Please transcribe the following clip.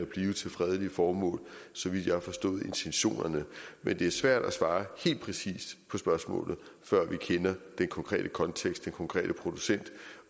blive til fredelige formål så vidt jeg har forstået intentionerne men det er svært at svare helt præcist på spørgsmålet før vi kender den konkrete kontekst den konkrete producent